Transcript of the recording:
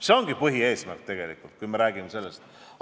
See ongi tegelikult põhieesmärk, kui me sellest räägime.